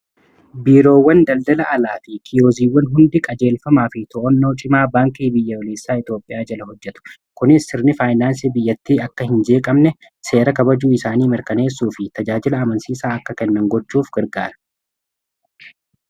Biiroowwan daldala alaa fi kiyoziiwwan hundi qajeelfamaa fi to'annoo cimaa baankii biyyaolessaa Itoophiyaa jala hojjetu kunis sirni faayinaansi biyyattii akka hin jeeqamne seera kabajuu isaanii mirkaneessuu fi tajaajila amansiisaa akka kennan gochuuf gargaara.